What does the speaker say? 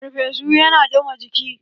Ferfesu ya na ɗuma jiki.